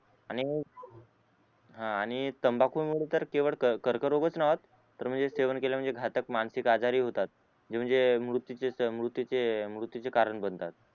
आणि हा आणि तंबाखुमुळे तर केवळ कर्करोग च नाय होत तर सेवन केला म्हणजे घातक मानसिक आजार ही होतात नि म्हणजे मृत्यू मृत्यूचे मृत्यूचे कारण बनतात